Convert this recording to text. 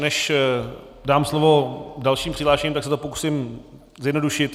Než dám slovo dalším přihlášeným, tak se to pokusím zjednodušit.